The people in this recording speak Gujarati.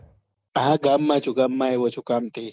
હા ગામ માં છુ ગામ માં આવ્યો છુ કામ થી